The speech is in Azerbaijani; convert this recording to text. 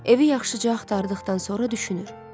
Evi yaxşıca axtardıqdan sonra düşünür.